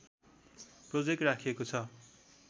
project राखिएको छ